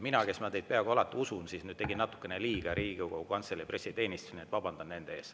Mina, kes ma teid peaaegu alati usun, tegin siis natukene liiga Riigikogu Kantselei pressiteenistusele, nii et vabandan nende ees.